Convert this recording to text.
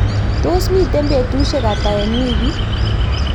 tos mito betusiek ata eng' wikit?